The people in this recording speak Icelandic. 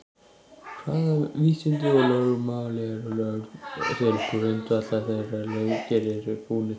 Hvaða vísindi og lögmál eru lögð til grundvallar þegar leikir eru búnir til?